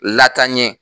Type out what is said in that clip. Latanɲɛ